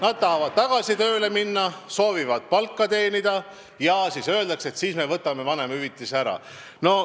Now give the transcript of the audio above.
Nad tahavad tagasi tööle minna, soovivad palka teenida, aga neile öeldakse, et siis me võtame vanemahüvitise ära.